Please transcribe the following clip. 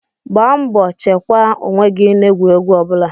Gbaa mbọ chekwaa onwe gị n'egwuregwu ọbụla